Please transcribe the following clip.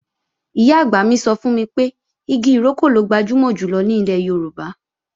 Ìyá-àgbà mi sọ fún mi pé igi ìrókò ló gbajúmọ̀ jùlọ ní ilẹ̀ Yorùbá